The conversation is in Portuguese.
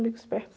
Amigos perto